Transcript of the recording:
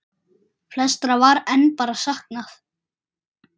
Flestra var enn bara saknað.